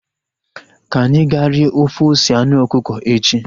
Ka anyị ga rie ofe ose anụ ọkụkọ echi